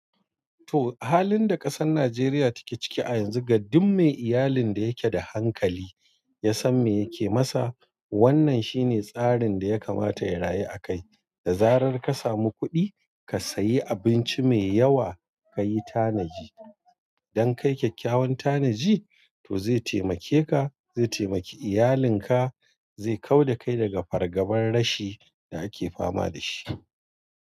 To, halin da ƙasar Najeriya take ciki a yanzu, ga duk mai iyalin da yake da hankali ya san me yake masa. Wannan shine tsarin da ya kamata ya rayu akai. Da zarar ka samu kuɗi, ka sayi abinci mai yawa ka yi tanaji. Idan ka yi kyakkyawan tanaji, to zai taimake ka, zai taimake iyalinka, zai kau da kai daga fargabar rashi da ake fama da shi.